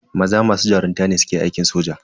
Maza masu jarunta ne suke aikin soja.